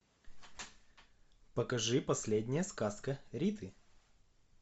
покажи последняя сказка риты